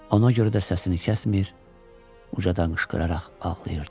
Ona görə də səsini kəsmir, ucadan qışqıraraq ağlayırdı.